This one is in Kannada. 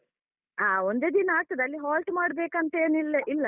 ಅಹ್ ಒಂದೇ ದಿನ ಆಗ್ತದೆ ಅಲ್ಲಿ halt ಮಾಡ್ಬೇಕಂತೇನಿಲ್ಲ ಇಲ್ಲ ಅಲ.